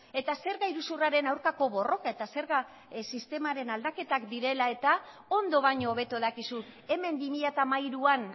eta zerga iruzurraren aurkako borroka eta zerga sistemaren aldaketa direla eta ondo baino hobeto dakizu hemen bi mila hamairuan